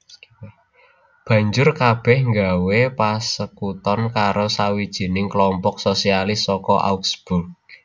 Banjur kabèh nggawé pasekuton karo sawijining kelompok sosialis saka Augsburg